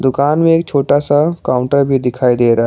दुकान में एक छोटा सा काउंटर भी दिखाई दे रहा--